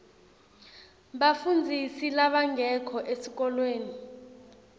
bafundzisi labangekho esikolweni